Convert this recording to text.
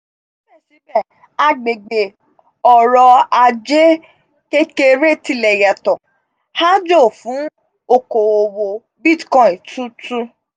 síbẹ̀síbẹ̀ agbègbè ọrọ̀ ajé kékeré tilẹ̀ yàtọ̀. aájò fún okò òwò bitcoin tutù.